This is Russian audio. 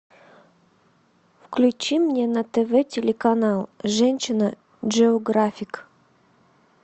включи мне на тв телеканал женщина джеографик